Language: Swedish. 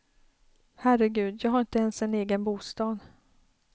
Herregud, jag har har inte ens en egen bostad.